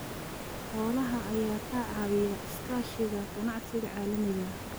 Xoolaha ayaa ka caawiya iskaashiga ganacsiga caalamiga ah.